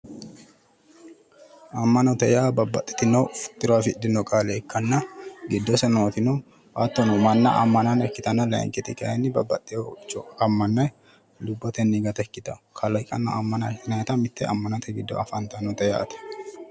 Amma'note yaa babbaxitino tiro afidhino qaale ikkanna giddose nootino hattono manna ammana ikkitanna layiinkiti kayiinni babbaxewo uduunnicho ammanne lubbotenni gata ikkitanno kaliiqa ammana mitte ammanare giddo afantannote yaate.